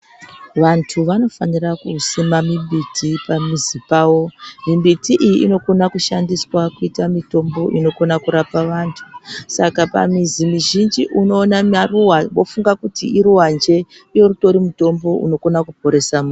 Vantu vanofanira kusima mimbiti pamizi pawo. Mimbiti iyi inokona kushandiswa kuita mitombo inokona kurapa antu. Saka pamizi mizhinji unoona maruwa wofunga kuti iruwanje, iwo utori mutombo unokona kutoponesa antu.